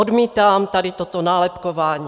Odmítám tady toto nálepkování.